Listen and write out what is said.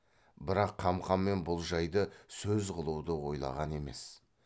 бірақ қамқамен бұл жайды сөз қылуды ойлаған емес